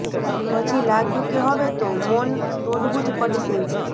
પછી લાગ્યું કે હવે તો મૌન તોડવું જ પડશે